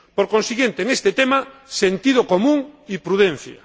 Por consiguiente, en este tema sentido común y prudencia.